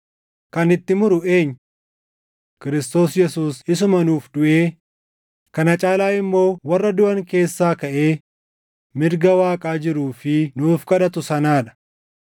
Kan itti muru eenyu? Kiristoos Yesuus isuma nuuf duʼee, kana caalaa immoo warra duʼan keessaa kaʼee mirga Waaqaa jiruu fi nuuf kadhatu sanaa dha.